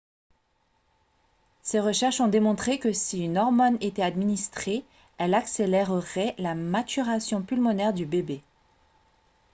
ses recherches ont démontré que si une hormone était administrée elle accélérerait la maturation pulmonaire du bébé